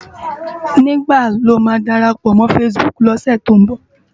Nigbá ló má dárápò mò fãsibúk lòsè tó n bò?